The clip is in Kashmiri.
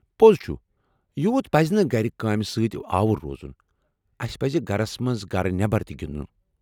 پوٚز چُھ ، یوٗت پزنہٕ تہٕ گھرٕ كامہِ سۭتۍ آوُر روزُن۔ اسہِ پَزِ گھرس منٛز گرٕ نٮ۪بر تہِ گنٛدن۔